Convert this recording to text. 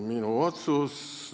Minu otsus tühistati.